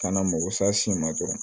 Kana mako sa sin na dɔrɔn